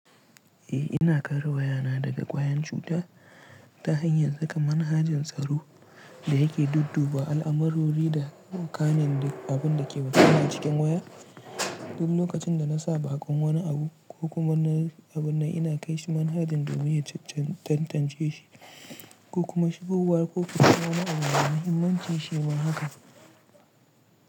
Eh ina kare wayana daga kwayan cuta ta hanyar saka manhajin tsaro da yake dudduba al'amarori da kanin abin da ke gudana cikin waya. Duk lokacin da na sa bakon wani abu ko kuma wani abu na ina kai shi manhajin domin ya tantance shi ko kuma shigowar ko fito wani abu yana muhimmanci shi ma haka.